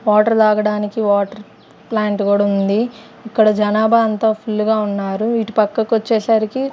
Water తాగడానికి water plant గుడ ఉంది ఇక్కడ జనాభా అంత ఫుల్ గా ఉన్నారు ఇటు పక్కకు వచ్చేసరికి.